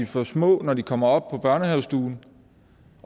for små når de kommer op på børnehavestuen